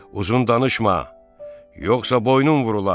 Uzun danışma, yoxsa boynun vurular.